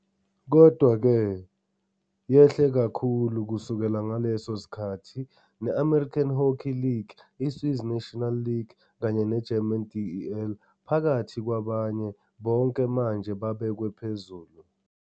Kodwa-ke, yehle kakhulu kusukela ngaleso sikhathi, ne- American Hockey League, i- Swiss National League kanye ne- German DEL, phakathi kwabanye, bonke manje babekwe phezulu.